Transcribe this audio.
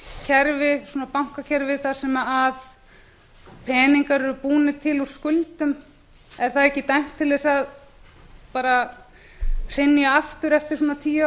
kerfi svona bankakerfi þar sem peningar eru búnir til úr skuldum er það ekki dæmt til þess bara að hrynja aftur eftir svona tíu